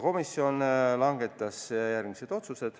Komisjon langetas järgmised otsused.